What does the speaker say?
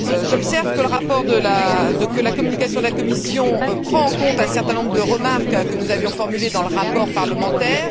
J'observe que la communication de la Commission prend en compte un certain nombre de remarques que nous avions formulées dans le rapport parlementaire.